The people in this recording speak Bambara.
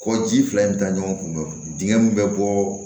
Kɔ ji fila in bɛ taa ɲɔgɔn kun dingɛ min bɛ bɔ